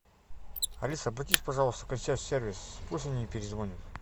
алиса обратись пожалуйста в консьерж сервис пусть они перезвонят